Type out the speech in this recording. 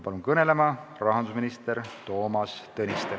Palun kõnelema rahandusminister Toomas Tõniste.